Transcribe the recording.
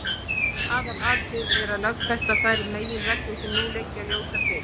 Aðalatriðið er að lögfesta þær meginreglur sem nú liggja ljósar fyrir.